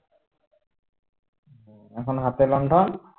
এখন হাতে লণ্ঠন